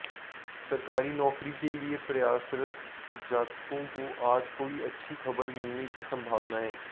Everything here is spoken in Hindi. सरकारी नौकरी के लिए प्रयासरत जातकों को आज कोई अच्छी खबर मिलने की संभावना है